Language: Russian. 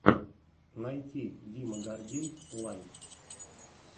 найти дима гордей лайв